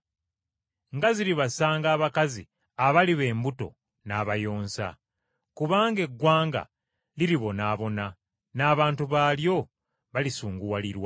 Nga ziribasanga abakazi abaliba embuto n’abayonsa! Kubanga eggwanga liribonaabona, n’abantu baalyo balisunguwalirwa.